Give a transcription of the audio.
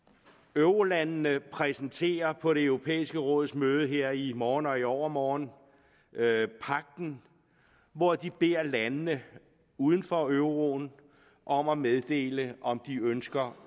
eurolandene præsenterer på det europæiske råds møde her i morgen og i overmorgen pagten hvor de beder landene uden for euroen om at meddele om de ønsker